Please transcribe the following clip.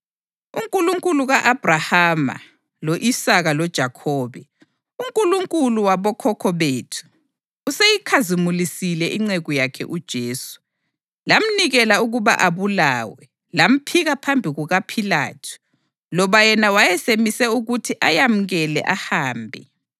UNkulunkulu ka-Abhrahama, lo-Isaka loJakhobe, uNkulunkulu wabokhokho bethu useyikhazimulisile inceku yakhe uJesu. Lamnikela ukuba abulawe, lamphika phambi kukaPhilathu, loba yena wayesemise ukuthi amyekele ahambe.